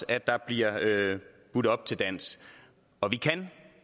at der bliver budt op til dans og vi kan